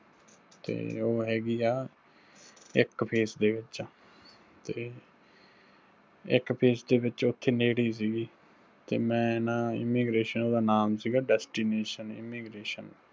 ਤੇ ਉਹ ਹੈਗੀ ਆ ਇੱਕ phase ਦੇ ਵਿੱਚ, ਤੇ ਇੱਕ phase ਦੇ ਵਿੱਚ ਉੱਥੇ ਨੇੜੇ ਹੀ ਸਿਗੀ, ਤੇ ਮੈਂ ਨਾ immigration ਉਹਦਾ ਨਾਮ ਸਿਗਾ Destination Immigration